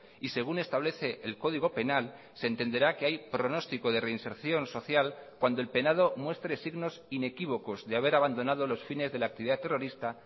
y según establece el código penal se entenderá que hay pronóstico de reinserción social cuando el penado muestre signos inequívocos de haber abandonado los fines de la actividad terrorista